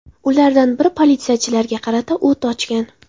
Ulardan biri politsiyachilarga qarata o‘t ochgan.